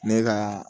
Ne ka